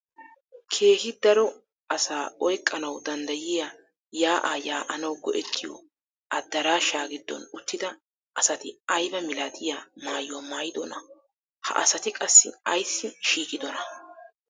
Keehi daro asaa oyqqanawu danddayiyaa yaa'aa yaa'anawu go"ettiyoo adaraashshaa giddon uttida asati aybaa milatiyaa maayuwaa maayidonaa? ha asati qassi ayssi shiiqidonaa?